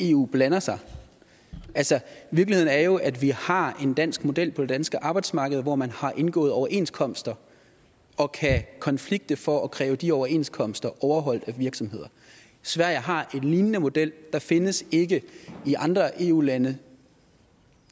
eu blander sig virkeligheden er jo at vi har en dansk model på det danske arbejdsmarked hvor man har indgået overenskomster og kan konflikte for at kræve de overenskomster overholdt af virksomhederne sverige har en lignende model der findes ikke i andre eu lande